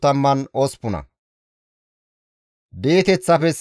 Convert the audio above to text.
Hanaane, Giddele, Gahare,